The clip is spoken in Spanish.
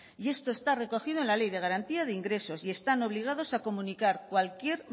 y esto está recogido en la ley de garantía de ingresos y están obligados a comunicar cualquier